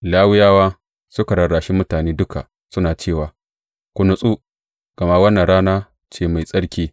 Lawiyawa suka rarrashi mutane duka suna cewa, Ku natsu, gama wannan rana ce mai tsarki.